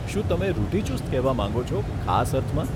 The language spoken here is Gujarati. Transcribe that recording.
શું તમે રૂઢીચુસ્ત કહેવા માંગો છો, ખાસ અર્થમાં?